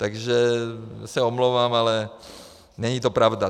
Takže se omlouvám, ale není to pravda.